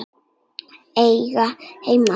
Eiga heima þar.